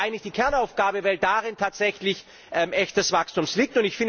Das ist aber eigentlich die Kernaufgabe, weil darin tatsächlich echtes Wachstum liegt.